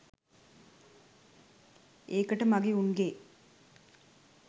ඒකට මගේ උන්ගේ